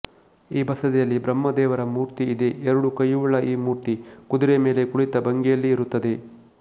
ಈ ಬಸದಿಯಲ್ಲಿ ಬ್ರಹ್ಮದೇವರ ಮೂರ್ತಿ ಇದೆ ಎರಡು ಕೈಯುಳ್ಳ ಈ ಮೂರ್ತಿ ಕುದುರೆಯ ಮೇಲೆ ಕುಳಿತ ಭಂಗಿಯಲ್ಲಿ ಇರುತ್ತದೆ